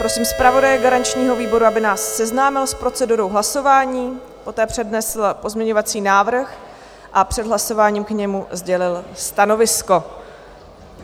Prosím zpravodaje garančního výboru, aby nás seznámil s procedurou hlasování, poté přednesl pozměňovací návrh a před hlasováním k němu sdělil stanovisko.